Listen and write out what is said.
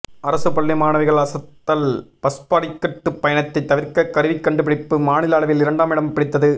அரசு பள்ளி மாணவிகள் அசத்தல் பஸ் படிக்கட்டு பயணத்தை தவிர்க்க கருவி கண்டுபிடிப்பு மாநில அளவில் இரண்டாமிடம் பிடித்தது